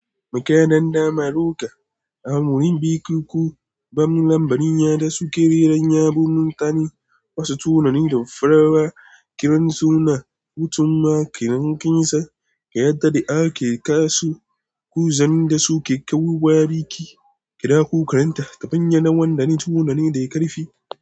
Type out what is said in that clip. Makira danda maroƙa, amurin biki ko bamun lambari, yada su ke reran yabon mutane. Wasu tunanin da farawa, kiran suna, hutunma, kirankinsa, ƙayatar da ake kasu, ku zan da su ke kawo wa biki. Kira ku karanta tafinya na wannan tunani da yake karfi.